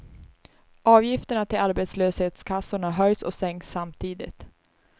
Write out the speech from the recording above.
Avgifterna till arbetslöshetskassorna höjs och sänks, samtidigt.